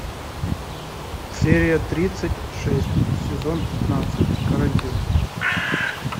серия тридцать шесть сезон пятнадцать карантин